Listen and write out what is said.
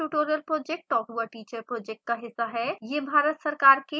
spoken tutorial project talk to a teacher project का हिस्सा है